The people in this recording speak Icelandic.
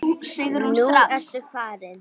Nú ertu farinn.